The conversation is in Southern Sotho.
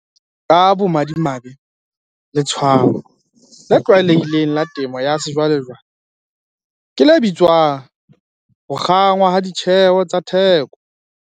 Ka bomadimabe, letshwao le tlwaelehileng la temo ya sejwalejwale ke le bitswang ho kgangwa ha ditjheho tsa theko.